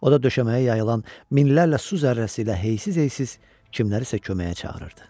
O da döşəməyə yayılan minlərlə su zərrəsi ilə heysiz-heysiz kimlərisə köməyə çağırırdı.